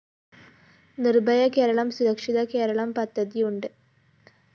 നിര്‍ഭയ കേരളം സുരക്ഷിത കേരളം പദ്ധതി ഉണ്ട്